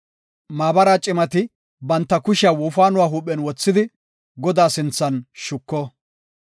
Maabara cimati banta kushiya wofaanuwa huuphen wothidi Godaa sinthan shuko.